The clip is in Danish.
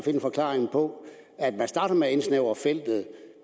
en forklaring på at man starter med at indsnævre feltet